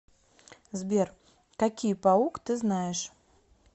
сбер какие паук ты знаешь